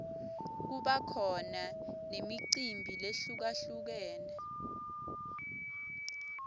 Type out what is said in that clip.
kuba khona nemicimbi lehlukalhlukene